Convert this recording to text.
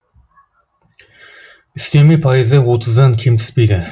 үстеме пайызы отыздан кем түспейді